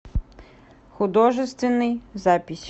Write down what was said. художественный запись